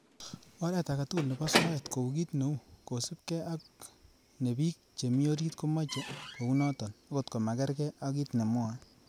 Oret agetugul nebo soet, ko u kit neu kosiibge ak ne bik chemi orit komoche kounoton, okot komagerger ak kit nemwoe.